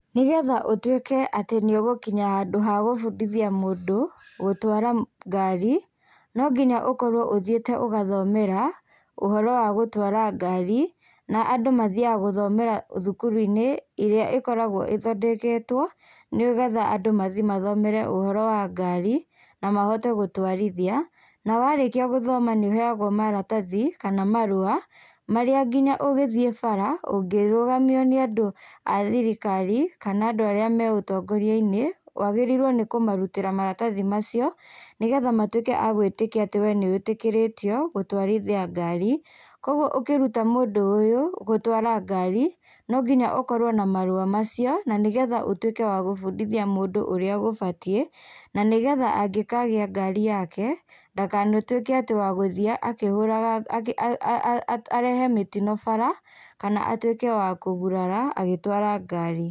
Nĩgetha ũtuĩke atĩ nĩ ũgũkinya handũ ha gũbundithia mũndũ gũtwara ngari, no nginya ũkorwo ũthiĩte ũgathomera ũhoro wa gũtwara ngari. Na andũ mathiyaga guthomera thukuru-inĩ irĩa ĩkoragwo ĩthondeketwo nĩgetha andũ mathĩĩ mathomere ũhoro wa ngari na mahote gũtwarithia nawarĩkia gũthoma nĩ ũheyagwo maratathi kana marua marĩa nginya ũgĩthiĩ bara ũngĩrũgamio nĩ andũ a thirikari kana andũ arĩa me ũtongoria-inĩ wagĩrĩirwo nĩ kũmarutĩra maratathi macio nĩgetha matuĩke agwĩtĩkia atĩ we nĩwĩtĩkĩrĩtio gũtwarithia ngari. Koguo ũkĩruta mũndũ ũũ gũtwara ngari no nginya ũkorwo na marũa macio na nĩgetha ũtuĩke wa gũbundithia mũndũ ũrĩa gũbatiĩ na nĩgetha angĩkagĩa ngari yake ndakanatuĩke atĩ wa gũthiĩ akĩhũraga ngari arehe mĩtino bara kana atuĩke wa kũgurara agĩtwara ngari.